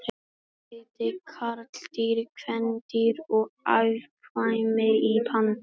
Hvað heita karldýr, kvendýr og afkvæmi panda?